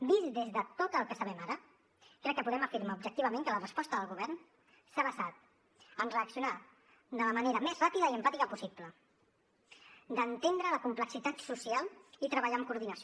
vist des de tot el que sabem ara crec que podem afirmar objectivament que la resposta del govern s’ha basat en reaccionar de la manera més ràpida i empàtica possible d’entendre la complexitat social i treballar en coordinació